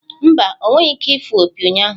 Mba, ọ nweghị ike ịfụ opi ụnyahụ.